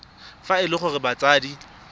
fa e le gore batsadi